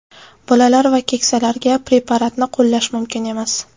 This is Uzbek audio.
Bolalar va keksalarga preparatni qo‘llash mumkin emas.